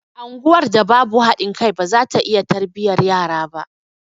Anguwar da babu haɗin kai baza ta iya tarbiyyar yara ba